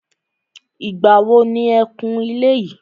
Ìgbà wo ni e kun ilé yìí.